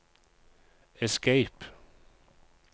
escape